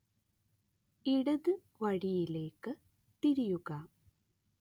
ഇടത് വഴിയിലേക്ക് തിരിയുക